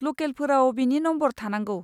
लकेलफोराव बिनि नमबर थानांगौ।